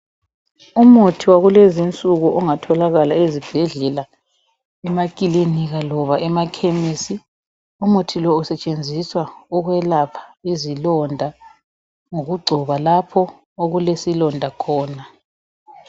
Umuthi wakukezi insuku ongatholakala ezibhedlela, emakilinika loba emakhemisi. Umuthi lo usetshenziswa ukwelapha izilonda ngokugcoba lapho okulesilonda khona.